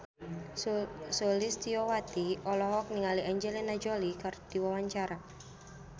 Sulistyowati olohok ningali Angelina Jolie keur diwawancara